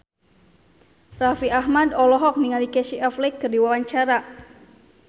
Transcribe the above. Raffi Ahmad olohok ningali Casey Affleck keur diwawancara